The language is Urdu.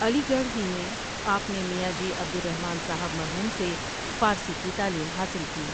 علی گڑھ ہی میں آپ نے میاں جی عبدالرحمن صاحب مرحوم سے فارسی کی تعلیم حاصل کی۔